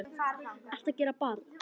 ERTU AÐ GERA, BARN!